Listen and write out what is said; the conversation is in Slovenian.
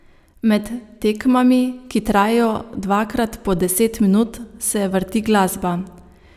Med tekmami, ki trajajo dvakrat po deset minut, se vrti glasba.